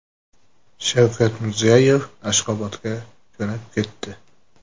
Shavkat Mirziyoyev Ashxobodga jo‘nab ketdi.